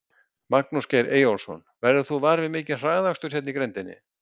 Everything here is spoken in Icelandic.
Magnús Geir Eyjólfsson: Verður þú var við mikinn hraðakstur hérna í grenndinni?